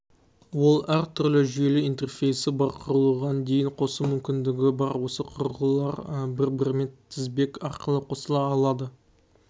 ол әр түрлі жүйелі интерфейсі бар құрылғыға дейін қосу мүмкіндігі бар осы құрылғылар бір-бірімен тізбек арқылы қосыла алады